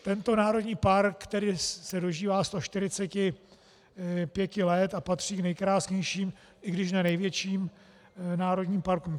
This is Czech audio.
Tento národní park tedy se dožívá 145 let a patří k nejkrásnějším, i když ne největším národním parkům.